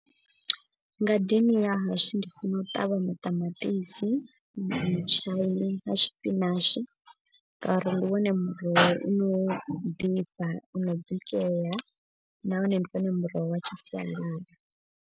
Ngadeni ya hashu ndi funa u ṱavha maṱamaṱisi na mutshaini na tshipinashi. Ngauri ndi wone muroho u no ḓifha uno bikela nahone ndi wone muroho wa tshi sialala.